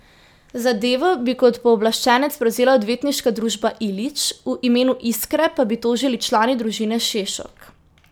Zadevo bi kot pooblaščenec prevzela Odvetniška družba Ilić, v imenu Iskre pa bi tožili člane družine Šešok.